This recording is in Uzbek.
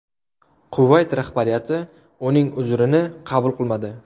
Kuvayt rahbariyati uning uzrini qabul qilmadi.